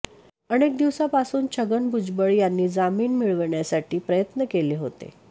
अनेक दिवसापासून छगन भुजबळ यांनी जामीन मिळवण्यासाठी प्रयत्न केले होते